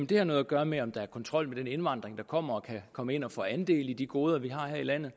det har noget at gøre med om der er kontrol med den indvandring der kommer og med at komme ind og få andel i de goder vi har her i landet